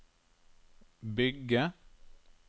bygge